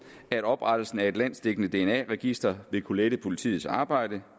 at oprettelsen af et landsdækkende dna register vil kunne lette politiets arbejde